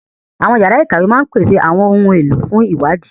Àwọn yàrá ìkàwé máa ń pèsè àwọn ohun èlò fún ìwádìí